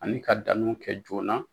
Ani ka danniw kɛ joona.